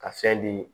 Ka fɛn di